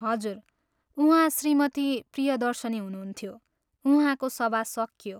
हजुर, उहाँ श्रीमती प्रियदर्शिनी हुनुन्थ्यो, उहाँको सभा सकियो।